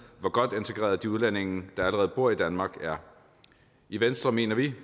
hvor godt integreret de udlændinge der allerede bor i danmark er i venstre mener vi